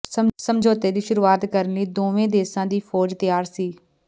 ਸਮਝੌਤੇ ਦੀ ਸ਼ੁਰੂਆਤ ਕਰਨ ਲਈ ਦੋਵੇ ਦੇਸਾਂ ਦੀ ਫੌਜ ਤਿਆਰ ਸੀ